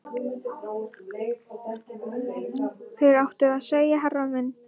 Þér áttuð að segja herra minn